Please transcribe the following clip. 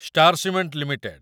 star cement limited